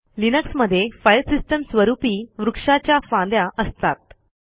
लिनक्समध्ये फाईल सिस्टीमस्वरूपी वृक्षाच्या फांद्या असतात